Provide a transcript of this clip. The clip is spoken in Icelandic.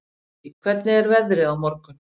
Gillý, hvernig er veðrið á morgun?